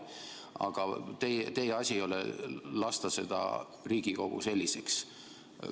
Aga teie asi ei ole lasta seda Riigikogu selliseks.